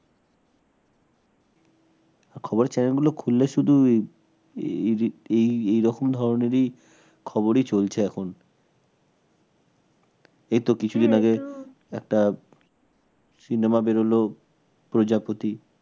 খবরের channel গুলো খুললে শুধুই এ এই যে এই এরকম ধরনেরই খবরই চলছে এখন এইতো কিছুদিন আগে একটা cinema বেরোলো প্রজাপতি